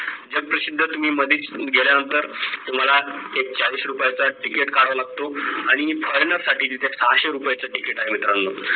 जग प्रसिद्ध तुम्ही मधीच गेल्यानंतर तुम्हाला एक चाळीस रुपयाचा तिकीट काढायला लागतो आणि foreigner साठी तिथं सहाशे रुपयाचं तिकिट आहे मित्रानो